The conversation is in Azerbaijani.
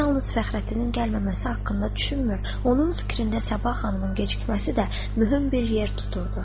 Əmir yalnız Fəxrəddinin gəlməməsi haqqında düşünmür, onun fikrində sabah xanımın gecikməsi də mühüm bir yer tuturdu.